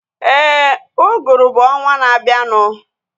Éè, uguru bụ ọnwaa na abianu